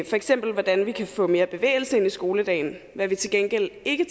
for eksempel hvordan vi kan få mere bevægelse ind i skoledagen hvad vi til gengæld ikke